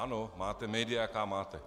Ano, máte média, jaká máte.